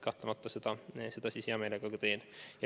Kahtlemata seda ma hea meelega teen.